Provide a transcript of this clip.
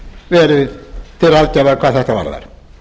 verið til aðgerða hvað þetta varðar